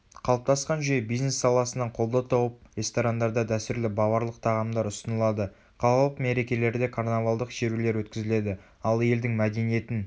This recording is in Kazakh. қалыптасқан жүйе бизнес саласынан қолдау тауып ресторандарда дәстүрлі баварлық тағамдар ұсынылады қалалық мерекелерде карнавалдық шерулер өткізіледі ал елдің мәдениетін